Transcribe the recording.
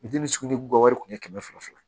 wari kun ye kɛmɛ fila fila ye